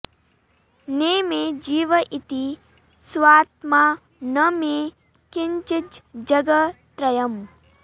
ने मे जीव इति स्वात्मा न मे किञ्चिज्जगत्रयम्